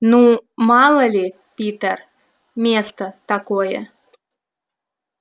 ну мало ли питер место такое